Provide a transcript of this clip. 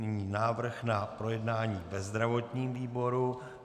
Nyní návrh na projednání ve zdravotním výboru.